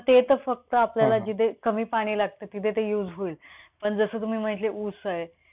पण ते तर फक्त आपल्याला जिथे कमी पाणी लागतं तिथे ते use होईल. पण जस तुम्ही म्हटले ऊस आहे.